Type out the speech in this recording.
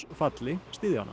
falli styðja hana